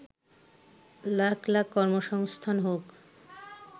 লাখ লাখ কর্মসংস্থান হোক